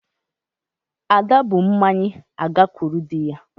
Ada bu mmanya agakwuru dị ya